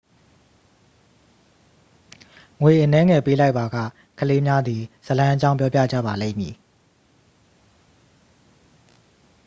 ငွေအနည်းငယ် ပေးလိုက်ပါက ကလေးများသည် ဇာတ်လမ်းအကြောင်း ပြောပြကြပါလိမ့်မည်